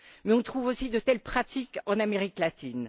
Mais on trouve aussi de telles pratiques en Amérique latine.